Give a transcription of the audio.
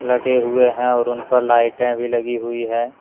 लगे हुए हैं और उन पर लाइटें भी लगी हुई है।